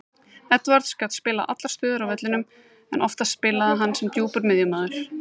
Edwards gat spilað allar stöður á vellinum en oftast spilaði hann sem djúpur miðjumaður.